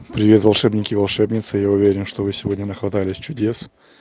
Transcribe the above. привет волшебники и волшебницы я уверен что вы сегодня на хватались чудес